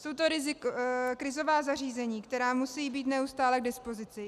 Jsou to krizová zařízení, která musí být neustále k dispozici.